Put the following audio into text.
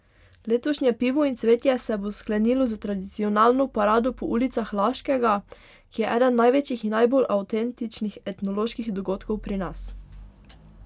Letošnje Pivo in cvetje se bo sklenilo s tradicionalno parado po ulicah Laškega, ki je eden največjih in najbolj avtentičnih etnoloških dogodkov pri nas.